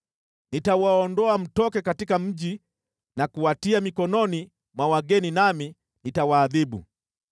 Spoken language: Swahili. Nitawaondoa mtoke katika mji na kuwatia mikononi mwa wageni nami nitawaadhibu.